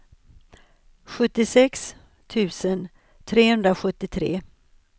sjuttiosex tusen trehundrasjuttiotre